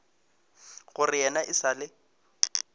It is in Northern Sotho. gore yena e sa le